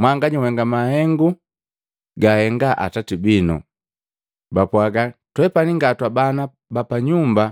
Mwanganya uhenga mahengu gahenga atati binu.” Bapwaga, “Twepani nga twabana ba panyumba.